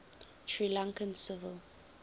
sri lankan civil